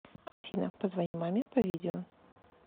афина позвони маме по видео